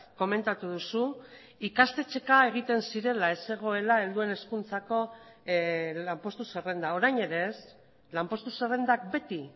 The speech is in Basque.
komentatu duzu ikastetxeka egiten zirela ez zegoela helduen hezkuntzako lanpostu zerrenda orain ere ez lanpostu zerrendak beti